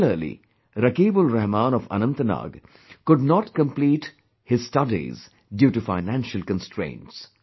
Similarly, RakibulRahman of Anantnag could not complete his studies due to financial constraints